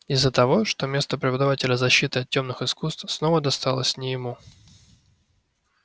из-за того что место преподавателя защиты от тёмных искусств снова досталось не ему